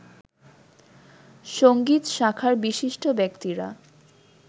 সংগীত শাখার বিশিষ্ট ব্যক্তিরা